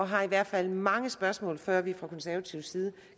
har i hvert fald mange spørgsmål før vi fra konservativ side